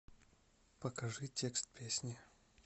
покажи текст песни